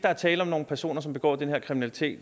se